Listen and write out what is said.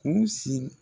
U sigi